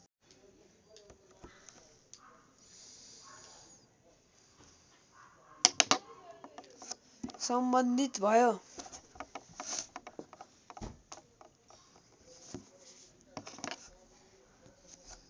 सम्बन्धित भयो